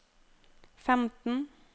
femten